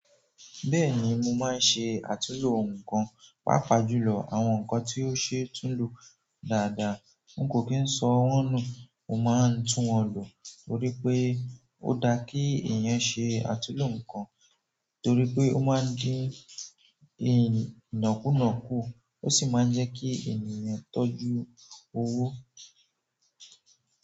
Bẹ́ẹ̀ni mo máa ń ṣe àtúnlò ǹnkan, pàápàá jùlọ àwọn nǹkan tí ó ṣe tún lo dáadáa. N kò kí ń sọ wọ́n nú, mo máa ń tún wọn lo torí pé ó dá kí èèyàn ṣe àtúnlò ǹnkan torí pé ó máa ń dín ìnákùnàkù, ó sì máa ń jẹ́ kí ènìyàn tọ́jú owó.